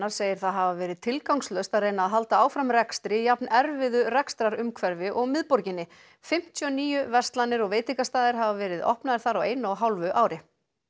segir það hafa verið tilgangslaust að reyna að halda áfram rekstri í jafn erfiðu rekstrarumhverfi og í miðborginni fimmtíu og níu verslanir og veitingastaðir hafa verið opnaðir þar á einu og hálfu ári